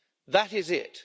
that is it.